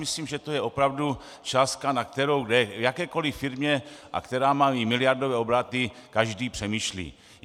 Myslím, že to je opravdu částka, nad kterou v jakékoli firmě, a která má i miliardové obraty, každý přemýšlí.